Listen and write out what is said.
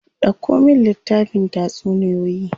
Dauko min littafin tatsuniyoyi.